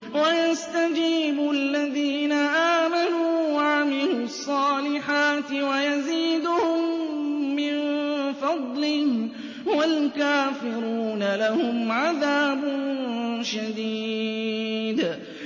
وَيَسْتَجِيبُ الَّذِينَ آمَنُوا وَعَمِلُوا الصَّالِحَاتِ وَيَزِيدُهُم مِّن فَضْلِهِ ۚ وَالْكَافِرُونَ لَهُمْ عَذَابٌ شَدِيدٌ